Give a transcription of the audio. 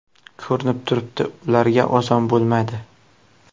Ko‘rinib turibdi ularga oson bo‘lmaydi.